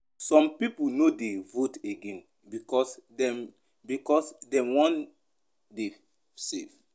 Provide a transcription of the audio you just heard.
Some pipo no dey vote again because dem because dem wan dey safe.